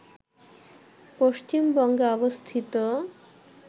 পশ্চিমবঙ্গে অবস্থিত